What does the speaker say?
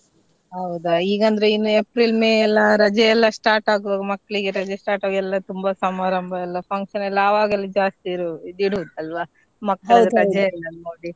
ಹೌದಾ ಈಗಂದ್ರೆ ಇನ್ April, May ಎಲ್ಲ ರಜೆಯೆಲ್ಲ start ಆಗುವಾಗ ಮಕ್ಕಳಿಗೆ ರಜೆ start ಆಗ್ ಎಲ್ಲ ತುಂಬಾ ಸಮಾರಂಭ ಎಲ್ಲ function ಎಲ್ಲ ಆವಾಗಲೇ ಜಾಸ್ತಿ ಇರೋ~ ಇಡುದು ಅಲ್ವಾ ಮಕ್ಳಿಗ್ .